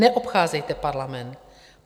Neobcházejte parlament.